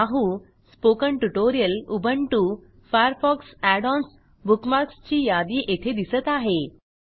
Yahoo spoken tutorial Ubuntu Firefox add on बुकमार्क्सची यादी येथे दिसत आहे